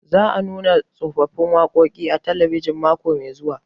Za a nuna tsofaffin waƙoƙi a talabijin mako mai zuwa